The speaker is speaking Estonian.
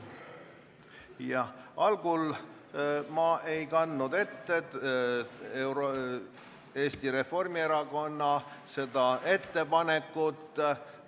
Jah, algul ma ei kandnud Eesti Reformierakonna ettepanekut täpselt ette.